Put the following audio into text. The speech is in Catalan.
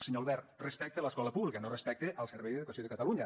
senyor albert respecte a l’escola pública no respecte al servei d’educació de catalunya